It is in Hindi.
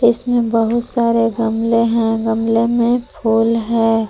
इसमें बहुत सारे गमले हैं गमले में फूल है।